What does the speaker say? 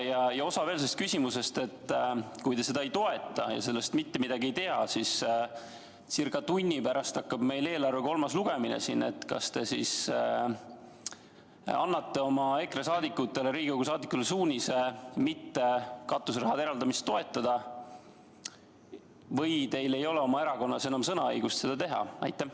Üks osa on sellel küsimusel veel: kui te seda ei toeta ja sellest mitte midagi ei tea, siis kui ca tunni pärast hakkab meil siin eelarve kolmas lugemine, kas te annate EKRE-sse kuuluvatele Riigikogu liikmetele suunise katuseraha eraldamist mitte toetada või teil ei ole oma erakonnas enam sõnaõigust, et seda teha?